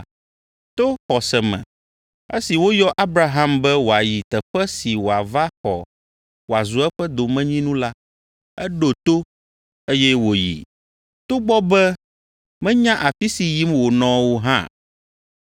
To xɔse me esi woyɔ Abraham be wòayi teƒe si wòava xɔ wòazu eƒe domenyinu la, eɖo to, eye wòyi, togbɔ be menya afi si yim wònɔ o hã.